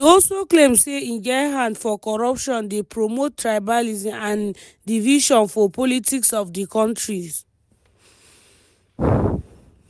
e also claim say im get hand for corruption dey promote tribalism and division for politics of di kontri.